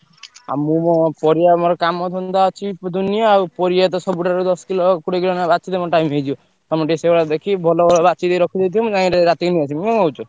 ଆଉ ମୁଁ ମୋ ପରିବା ମୋର କାମଧନ୍ଦା ଅଛି ଦୁନିଆ ଆଉ ପରିବା ତ ସବୁଠାରୁ ଦଶ କିଲୋ କୋଡିଏ କିଲୋ ଲେଖା ବାଛିଲେ ମୋ time ହେଇଯିବ। ତମେ ଟିକେ ସେଇଭଳିଆ ଦେଖି ଭଲ ଭଲ ବାଛିକି ରଖିଦେଇଥିବ ମୁଁ ଯାଇକି ରାତିକି ନେଇଆସିବି। କଣ କହୁଛ?